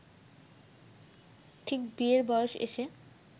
ঠিক বিয়ের বয়সে এসে